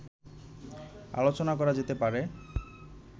আলোচনা করা যেতে পারে